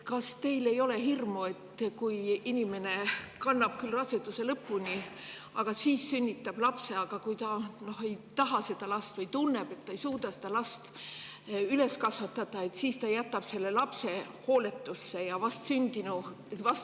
Kas teil ei ole hirmu, et kui inimene kannab raseduse lõpuni ja sünnitab lapse, aga ta seda last ei taha või tunneb, et ta ei suuda seda last üles kasvatada, siis ta jätab selle lapse hooletusse?